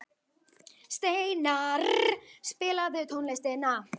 Steinarr, spilaðu tónlist.